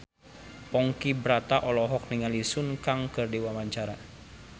Ponky Brata olohok ningali Sun Kang keur diwawancara